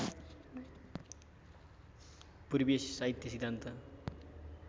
पूर्वीय साहित्य सिद्धान्त